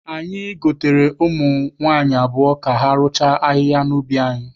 Anyị gotere ụmụ nwaanyị abụọ ka ha rụchaa ahịhịa n'ubi anyị.